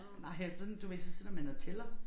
Nej og sådan du ved så sidder man og tæller